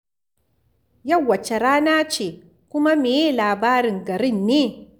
Yau wace rana ce, kuma me ye labarin garin ne?